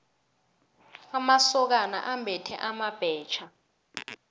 amasokana ambethe amabhetjha